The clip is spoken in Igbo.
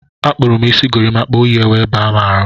Akpuru m isi gorimakwa oyi wee baa m ahụ.